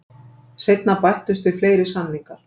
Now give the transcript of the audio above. Seinna bættust við fleiri samningar.